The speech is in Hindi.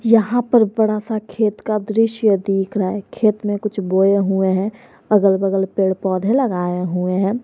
यहां पर बड़ा सा खेत का दृश्य दिख रहा हैं खेत में कुछ बोया हुआ हैं अगल बगल पेड़ पौधे लगाए हुए हैं।